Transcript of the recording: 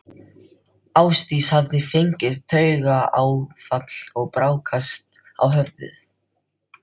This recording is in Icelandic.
Ásdís hafði fengið taugaáfall og brákast á höfði.